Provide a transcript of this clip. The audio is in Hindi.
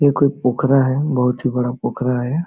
ये कोई पोखरा है बहुत ही बड़ा पोखरा है।